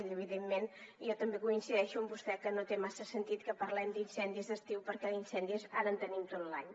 i evidentment jo també coincideixo amb vostè que no té massa sentit que parlem d’incendis d’estiu perquè d’incendis ara en tenim tot l’any